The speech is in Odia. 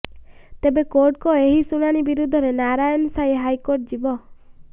ତେବେ କୋର୍ଟଙ୍କ ଏହି ଶୁଣାଣି ବିରୁଦ୍ଧରେ ନାରାୟଣ ସାଇ ହାଇକୋର୍ଟ ଯିବ